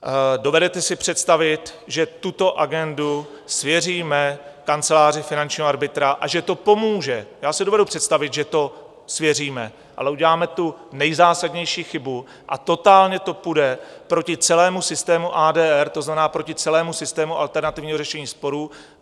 Dovedete si představit, že tuto agendu svěříme kanceláři finančního arbitra a že to pomůže - já si dovedu představit, že to svěříme, ale uděláme tu nejzásadnější chybu a totálně to půjde proti celému systému ADR, to znamená, proti celému systému alternativního řešení sporů.